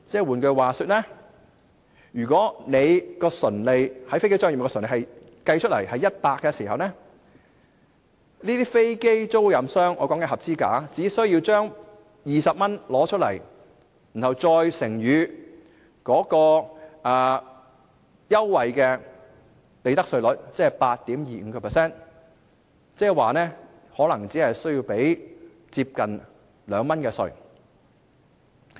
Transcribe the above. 換言之，如果在飛機租賃業務的純利是100元，這些合資格的飛機出租商只需要付出20元，再乘以該優惠的利得稅稅率 8.25%， 即是說，可能只須繳付接近2元的稅款。